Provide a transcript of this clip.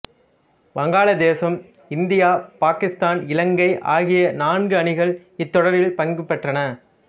வங்காள தேசம் இந்தியா பாகிஸ்தான் இலங்கை ஆகிய நான்கு அணிகள் இத்தொடரில் பங்கு பற்றின